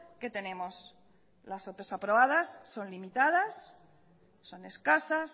que tenemos las ope aprobadas son limitadas son escasas